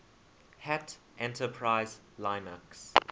hat enterprise linux